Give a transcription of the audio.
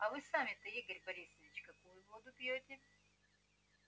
а вы сами-то игорь борисович какую воду пьёте